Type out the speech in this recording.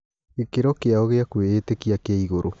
Gĩ kĩ ro kĩ ao gĩ a kwĩ ĩ tĩ kia kĩ igũrũ.